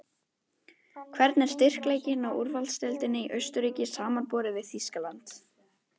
Hvernig er styrkleikinn á úrvalsdeildinni í Austurríki samanborið við Þýskaland?